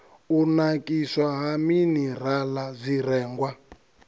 u nakiswa ha minirala zwirengwa